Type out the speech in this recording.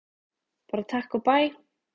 Bara takk og bæ!